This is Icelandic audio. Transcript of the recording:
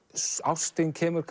ástin kemur